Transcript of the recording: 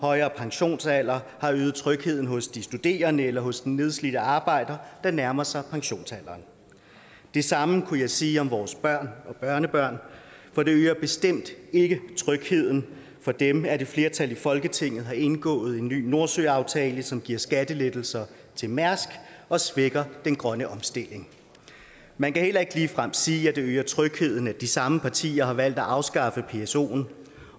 højere pensionsalder har øget trygheden hos de studerende eller hos den nedslidte arbejder der nærmer sig pensionsalderen det samme kunne jeg sige om vores børn og børnebørn for det øger bestemt ikke trygheden for dem at et flertal i folketinget har indgået en ny nordsøaftale som giver skattelettelser til mærsk og svækker den grønne omstilling man kan heller ikke ligefrem sige at det øger trygheden at de samme partier har valgt at afskaffe psoen